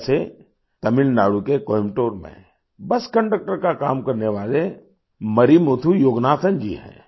जैसे तमिलनाडु के कोयम्बटूर में बस कन्डक्टर का काम करने वाले मरिमुथु योगनाथन जी हैं